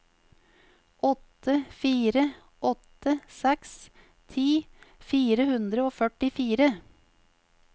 åtte fire åtte seks ti fire hundre og førtifire